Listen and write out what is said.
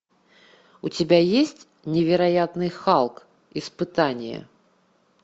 у тебя есть невероятный халк испытание